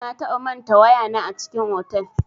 Na taɓa manta waya na a cikin otal.